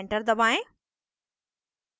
enter दबाएं